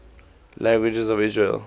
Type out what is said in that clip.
languages of israel